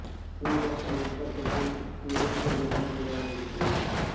ಹೀಗೆ ಒಂದು ಉದ್ದ ಪಟ್ಟಿ ಈ ರೀತಿಯಲ್ಲಿ ಕೊನೆಗೊಳ್ಳುವ ಹೆಸರಿದ್ದೆ